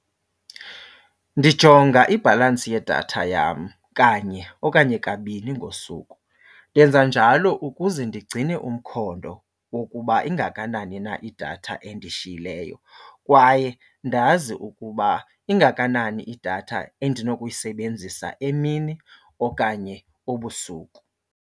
Ndijonga ibhalansi yedatha yam kanye okanye kabini ngosuku. Ndenza njalo ukuze ndigcine umkhondo wokuba ingakanani na idatha endishiyileyo kwaye ndazi ukuba ingakanani idatha endinokuyisebenzisa emini okanye ebusuku.